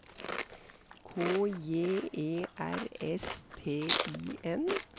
K J E R S T I N